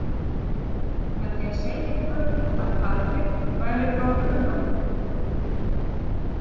Með því að segja ykkur að Patrik væri frá Brno.